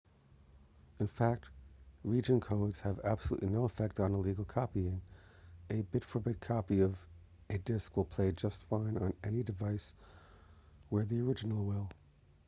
in fact region codes have absolutely no effect on illegal copying a bit-for-bit copy of a disk will play just fine on any device where the original will